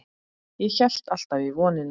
Ég hélt alltaf í vonina.